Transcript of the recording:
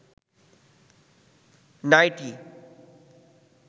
nightie